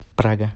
прага